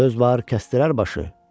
Söz var, kəsdirər başı.